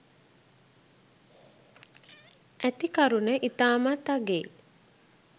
ඇති කරුන ඉතාමත් අගෙයි.